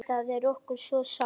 Það er okkur svo sárt.